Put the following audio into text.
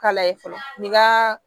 Kala ye fɔlɔ ni ka